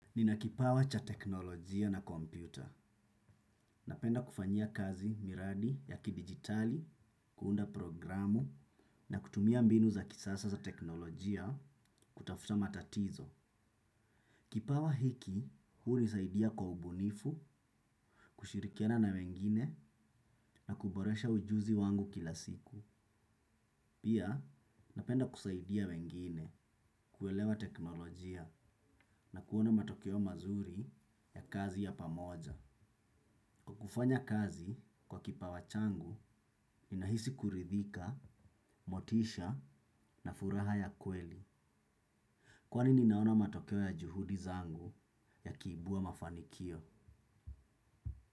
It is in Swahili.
Nina kipawa cha teknolojia na kompyuta. Napenda kufanyia kazi miradi ya kidigitali, kuunda programu na kutumia mbinu za kisasa za teknolojia kutafuta matatizo. Kipawa hiki hunisaidia kwa ubunifu, kushirikiana na wengine na kuboresha ujuzi wangu kila siku. Pia, napenda kusaidia wengine, kuelewa teknolojia na kuona matokeo mazuri ya kazi ya pamoja. Kwa kufanya kazi kwa kipawa changu, inahisi kuridhika, motisha na furaha ya kweli. Kwani ninaona matokeo ya juhudi zangu yakiibua mafanikio.